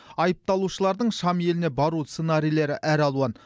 айыпталушылардың шам еліне бару сценарийлері әр алуан